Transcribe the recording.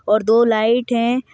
और दो लाइट हैं।